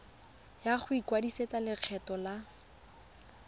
ya go ikwadisetsa lekgetho la